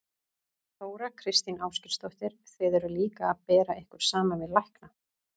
Þóra Kristín Ásgeirsdóttir: Þið eruð líka að bera ykkur saman við lækna?